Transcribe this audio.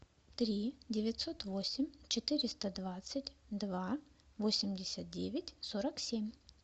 три девятьсот восемь четыреста двадцать два восемьдесят девять сорок семь